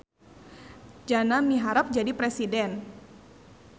Jana miharep jadi presiden